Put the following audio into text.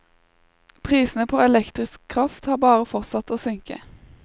Prisene på elektrisk kraft har bare fortsatt å synke.